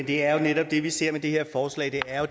det er jo netop det vi ser med det her forslag det er